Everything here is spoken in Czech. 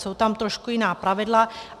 Jsou tam trošku jiná pravidla.